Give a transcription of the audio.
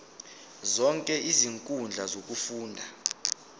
zonke izinkundla zokufunda